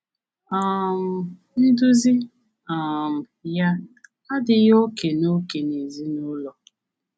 um Nduzi um ya adịghị oke na oke na ezinụlọ.